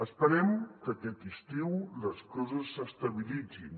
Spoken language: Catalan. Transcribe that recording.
esperem que aquest estiu les coses s’estabilitzin